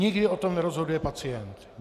Nikdy o tom nerozhoduje pacient.